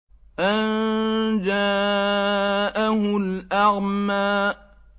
أَن جَاءَهُ الْأَعْمَىٰ